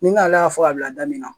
Ni nana y'a fɔ ka bila da min na